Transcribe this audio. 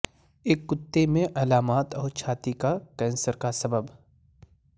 ایک کتے میں علامات اور چھاتی کا کینسر کا سبب